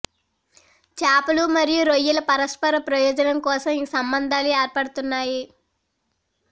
చేపలు మరియు రొయ్యల పరస్పర ప్రయోజనం కోసం ఈ సంబంధాలు ఏర్పడతాయి